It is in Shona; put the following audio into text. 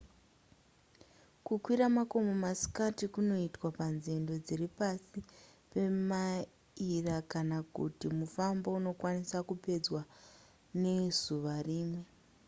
kukwira makomo masikati kunoitwa panzendo dziri pasi pemaira kana kuti mufambo unokwanisa kupedzwa nezuva rimwe